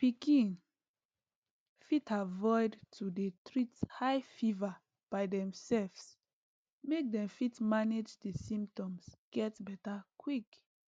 pikin fit avoid to dey treat high fever by demselves make dem fit manage di symptoms get beta quick